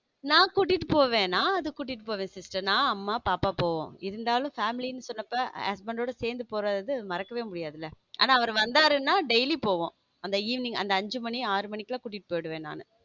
நான் கூட்டிட்டு போவேன் நான் கூட்டிட்டு போவேன் sister நான் அம்மா பாப்பா போவும் இருந்தாலும் family சொல்றப்ப husband யோட சேர்ந்து போறது மறக்கவே முடியாது இல்ல ஆனால் அவர் வந்தார் என்றால் daily போவோம் அந்த evening அஞ்சு மணி ஆறு மணி கூட்டிட்டு போயிடுவேன் நானு.